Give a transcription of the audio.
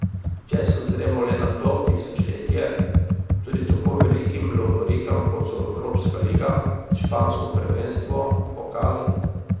Če se ozremo le na to tisočletje, tudi tako velikim lovorikam kot so evropska liga, špansko prvenstvo, pokal ...